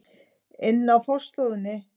ina á forstofunni.